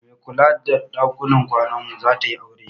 Mai kula da ɗakunan kwanan mu zatayi aure